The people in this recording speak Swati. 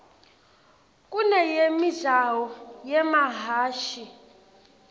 kuneyemijaho yemahhashi